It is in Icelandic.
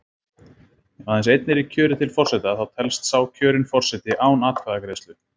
Ef aðeins einn er í kjöri til forseta þá telst sá kjörinn forseti án atkvæðagreiðslu.